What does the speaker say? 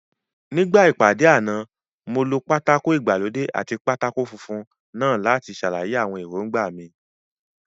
Nígbà ìpàdé àná, mo lo pátákó ìgbàlódé àti pátákó funfun náà láti ṣàlàyé àwọn èròńgbà mi